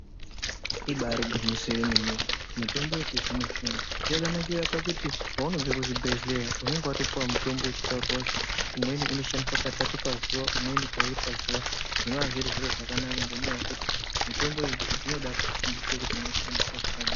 Ibari gwinyiso remene mene mitombo yechizvino zvino yakanakira pakuti paunobva kuzvibhedhlera unenge watopuwa mutombo wekuti umweni anotorwa katatu pazuva umweni paviri pazuwa zviri zviro zvakanaka ngekuti mitombo iyi inoda kufundiswa kuti inoshanda zvakadini.